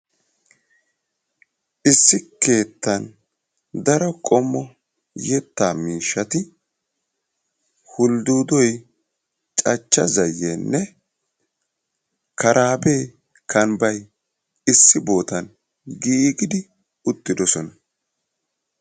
issi keettan daro qommo yetta miishshati ulddudoy, cachcha zayyenne karaabee kambba issi bootan giigidi uttidoosona.